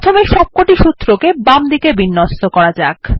প্রথমে সবকটি সূত্রকে বামদিকে বিন্যস্ত করা যাক